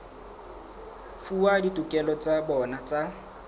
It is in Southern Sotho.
fuwa ditokelo tsa bona tsa